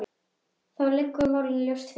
Þá liggja málin ljóst fyrir.